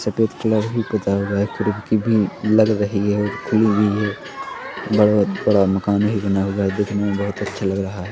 सफेद कलर भी पुता हुआ है खिड़की भी लग रही है और खुली हुई है बहुत बड़ा मकान भी बना हुआ है देखने मे बहुत अच्छा लग रहा हैं ।